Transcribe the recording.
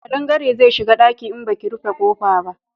Kadangare zai shiga daki in baki rufe kofa ba